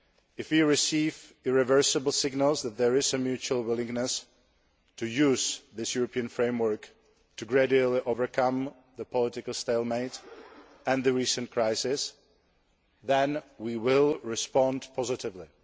If we receive irreversible signals that there is a mutual willingness to use this European framework to gradually overcome the political stalemate and the recent crisis, then we will respond positively.